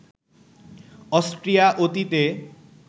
Austria অতীতে